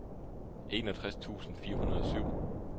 enogtres tusind fire hundrede og syv